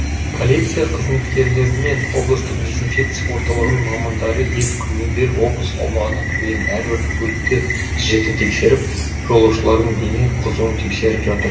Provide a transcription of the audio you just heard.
полиция қызметкерлері мен облыстық дезинфекция орталығының мамандары екі күннен бері облыс аумағына кірген әрбір көлікті жіті тексеріп жолаушылардың дене қызыуын тексеріп жатыр